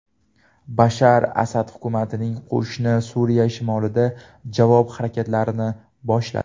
Bashar Asad hukumatining qo‘shini Suriya shimolida javob harakatlarini boshladi.